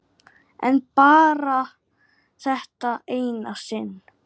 En bara þetta eina sinn.